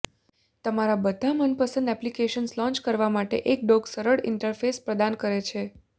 તમારા બધા મનપસંદ એપ્લિકેશન્સ લોંચ કરવા માટે એક ડોક સરળ ઇન્ટરફેસ પ્રદાન કરે છે